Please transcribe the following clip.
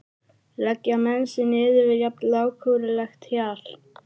Leggja menn sig niður við jafn lágkúrulegt hjal?